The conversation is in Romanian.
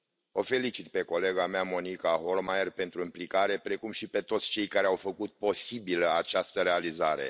O felicit pe colega mea Monica Hohlmeier pentru implicare, precum și pe toți cei care au făcut posibilă această realizare.